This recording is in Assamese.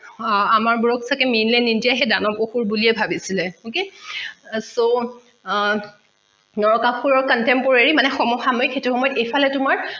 আমাৰ বোৰক চাগে সেই দানৱ অসুৰ বুলিয়ে ভাবিছিলে okay so নৰকাসুৰৰ contemporary মানে সমসাময়িক সেইতো সময়ত এইফালে তোমাৰ